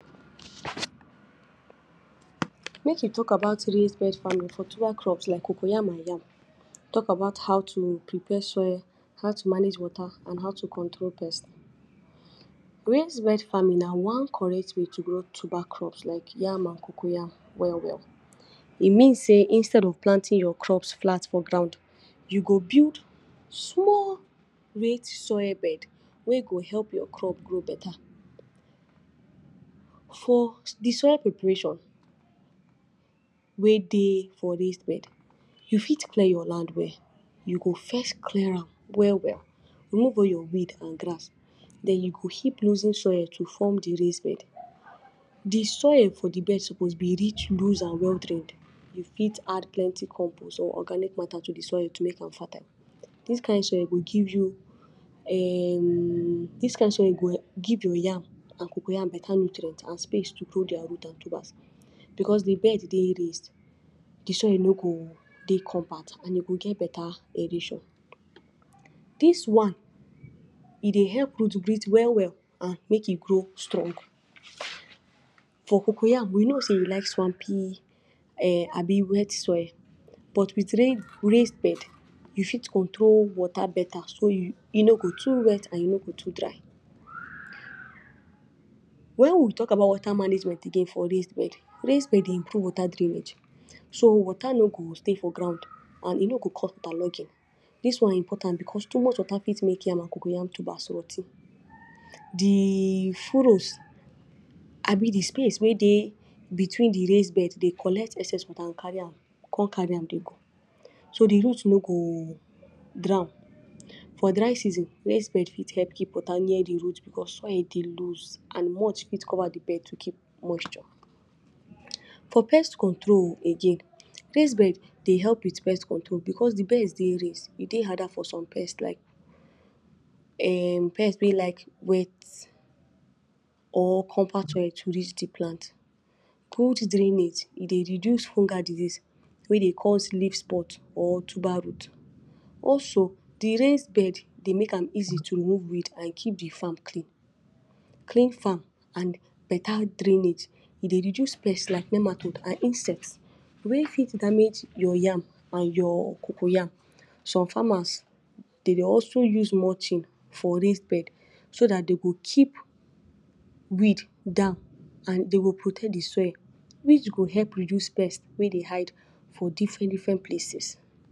Make we talk about raised bed farming for tuber crops like coco yam and yam, talk about how to prepare soil, how to water mange water and how to control pest. Raised bed farming na one correct way to grow tuber crops like yam and coco yam well well. E mean sey Instead of planting your crops flat for ground, you go build small raised soil bed wey go help your crops grow better. For de soil preparation, wey dey for raised bed you fit clear your land well, you go first clear am well well, remove all your weed and grass, den you go keep loosening soil to form de raised bed. De soil for de bed suppose be rich, loose, and well drained. You fit add plenty compost or organic matter to de soil to make am fertile. Dis kind soil go give[um] go give your yam and coco yam better nutrients and space to grow der root and tubers. Because de bed dey raised, de soil no go dey compact, and you go get better aeration. Dis one e dey help root breathe well well and make it grow strong. For coco yam we know sey e like swampy um abi wet soil, with raised bed you fit control water better so e no go too wet and e no go too dry. When we talk about water management again for raised bed, raised bed improve water drainage, so water no go stay for ground and e no go cause interluding dis one important because too much water fit make yam and coco yam tubers roty. De furrows abi de space wey de between de raised bed dey collect excess water and carry come carry am dey go, so de root no go drown. For dry season, raised bed fit help keep water near de root because soil dey loose and mulch fit cover de bed to keep moisture. For pest control again, raised bed dey help with pest control because de bed dey raised, e dey harder for some pest like um pest wey like wet or compact soil to reach de plant. Good drainage e dey reduce fungal diseases wey dey cause leaf spot or tuber rot. Also, de raised bed dey make am easy to remove weed and keep de farm clean. Clean farm and better drainage dey reduce pest like nematodes and insects wey fit damage your yam and your coco yam. Some farmers dey also use mulch for raised bed so dat dey go keep weed down and dey go protect de soil, which go help reduce pest wey dey hide for different different places.